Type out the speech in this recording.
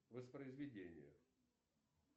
воспроизведение